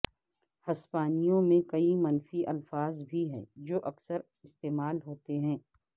ہسپانوی میں کئی منفی الفاظ بھی ہیں جو اکثر استعمال ہوتے ہیں